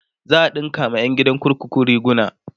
za'a ɗinka wa ƴan gidan kurkuku riguna